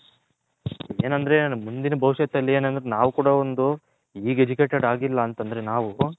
ಏನಂದ್ರೆ ನಮ್ಮ ಮುಂದಿನ ಬವಿಷ್ಯತ್ ಅಲ್ಲಿ ನಾವು ಕೂಡ ಒಂದು ಈಗ Education ಆಗಿಲ್ಲ ಅಂದ್ರೆ ನಾವು